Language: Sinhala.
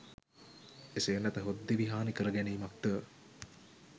එසේ නැතහොත් දිවි හානිකර ගැනීමක්ද